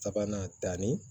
Sabanan danni